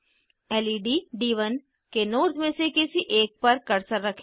lead डी1 के nodes में से किसी एक पर कर्सर रखें